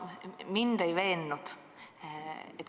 See vastus mind ei veennud.